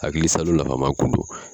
Hakili salu nafama kun do.